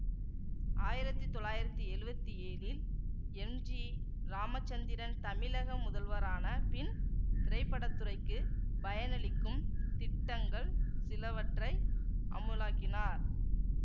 ஆயிரத்தி தொள்ளாயிரத்தி எழுவத்தி ஏழில் எம்ஜிராமசந்திரன் தமிழக முதல்வரான பின் திரைப்படத்துறைக்குப் பயனளிக்கும் திட்டங்கள் சிலவற்றை அமுலாக்கினார்